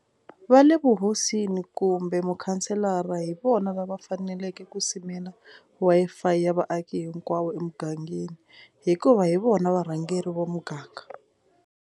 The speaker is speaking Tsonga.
Va le vuhosini kumbe mukhanselara hi vona lava faneleke ku simela Wi-Fi ya vaaki hinkwavo emugangeni hikuva hi vona varhangeri va muganga.